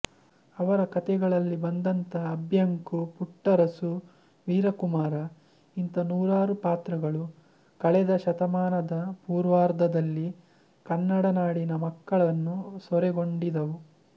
ಅವರ ಕಥೆಗಳಲ್ಲಿ ಬಂದಂತಹ ಅಭ್ಯಂಕು ಪುಟ್ಟರಸು ವೀರಕುಮಾರ ಇಂತ ನೂರಾರು ಪಾತ್ರಗಳು ಕಳೆದ ಶತಮಾನದ ಪೂರ್ವಾರ್ಧದಲ್ಲಿ ಕನ್ನಡನಾಡಿನ ಮಕ್ಕಳನ್ನು ಸೂರೆಗೊಂಡಿದ್ದವು